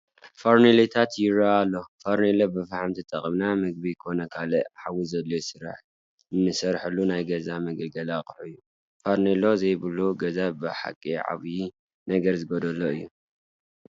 ፈርኔሎታት ይርአ ኣሎ፡፡ ፈርኔሎ ብፈሓም ተጠቒምና ምግቢ ኮነ ካልእ ሓዊ ዘድልዮ ስራሕ ንሰርሐሉ ናይ ገዛ መገልገሊ ኣቕሓ እዩ፡፡ ፈርኔሎ ዘይብሉ ገዛ ብሓቂ ዓብዪ ነገር ዝጐደሎ እዩ፡፡